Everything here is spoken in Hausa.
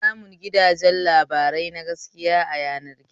Ana samun gidajen labarai na gaskiya a yanar gizo